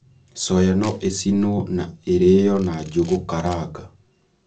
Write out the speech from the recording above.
Soya no ĩcinwo na ireyo na njũgũ karanga